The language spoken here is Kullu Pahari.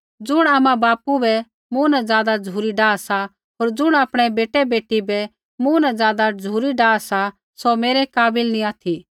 ज़ुण आमाबापू बै मूँ न ज़ादा झ़ुरी डाह सा होर ज़ुण आपणै बेटै बेटी बै मूँ न ज़ादा झ़ुरी डाह सा सौ मेरै काबिल नी ऑथि